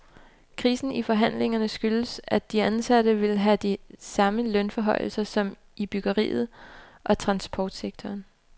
Krisen i forhandlingerne skyldes, at de ansatte vil have de samme lønforhøjelser som i byggeriet og transportsektoren.